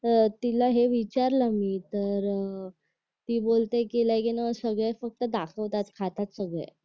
अह तिला हे विचारलं मी तर अह ती बोलते कि सगळेच फक्त दाखवतात खातात सगळे